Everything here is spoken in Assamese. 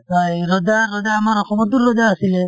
বা এই ৰজা ৰজা আমাৰ অসমটো ৰজা আছিলে ।